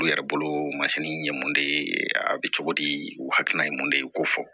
U yɛrɛ bolo masini ye mun de ye a bi cogo di u hakilina ye mun de ye k'o fɔ